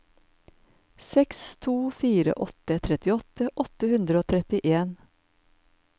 seks to fire åtte trettiåtte åtte hundre og trettien